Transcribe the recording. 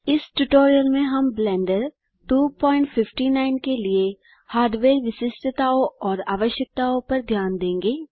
इस ट्यूटोरियल में हम ब्लेंडर 259 के लिए हार्डवेयर विशिष्टताओं और आवश्यकताओँ पर ध्यान देंगे